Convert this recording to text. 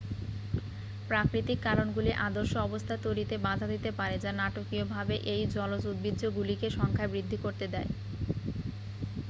প্রাকৃতিক কারণগুলি আদর্শ অবস্থা তৈরিতে বাধা দিতে পারে যা নাটকীয়ভাবে এই জলজ উদ্ভিজ্জগুলিকে সংখ্যায় বৃদ্ধি করতে দেয়